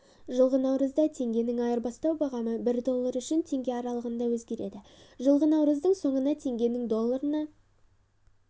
жылғы наурызда теңгенің айырбастау бағамы бір доллары үшін теңге аралығында өзгерді жылғы наурыздың соңында теңгенің долларына